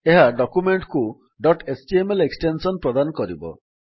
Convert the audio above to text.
ଏହା ଡକ୍ୟୁମେଣ୍ଟ୍ କୁ dot HTML extension ପ୍ରଦାନ କରିବ